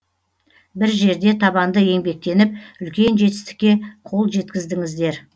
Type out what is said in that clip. бір жерде табанды еңбектеніп үлкен жетістікке қол жеткіздіңіздер